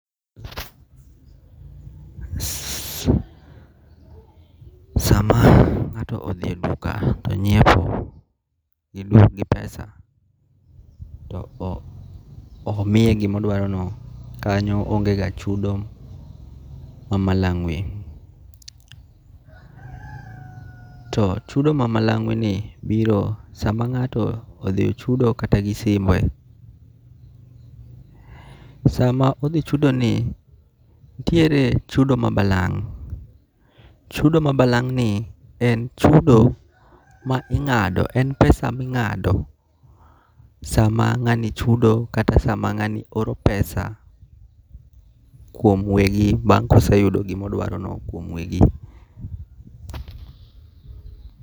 Sama ng'ato odhi e eduka to onyiepo, idwaro gi pesa to omiye gima odwaro no, kanyo onge ga chudo ma malangwe, to chudo ma malangwe ni biro sama ng'ato odhi ochudo kata gi simu e ,sama odhi chudo ni, nitiere chudo ma balang' ,chudo ma balang' ni en chudo ma ingado, en pesa mingado sama ngani chuo kata sama ngani oro pesa kuom wegi bang' koseyudo gima odwaro no kuom wegi.